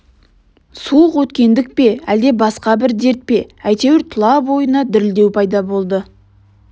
суық өткендік пе әлде басқа бір дерт пе әйтеуір тұла бойына дірілдеу пайда болды